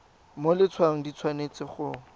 mo letshwaong di tshwanetse go